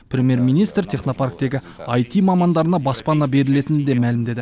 премьер министр технопарктегі іт мамандарына баспана берілетінін де мәлімдеді